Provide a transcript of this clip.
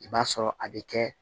I b'a sɔrɔ a bɛ kɛ